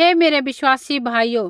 हे मेरै विश्वासी भाइयो